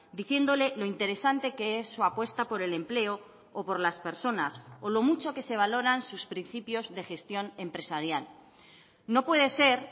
diciéndole lo interesante que es su apuesta por el empleo o por las personas o lo mucho que se valoran sus principios de gestión empresarial no puede ser